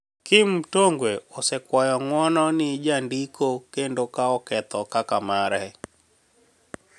Kim mtonigwe osekwayo niguono ni e janidiko kenido kao ketho kaka mare.